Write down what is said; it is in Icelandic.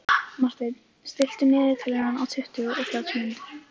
Marten, stilltu niðurteljara á tuttugu og þrjár mínútur.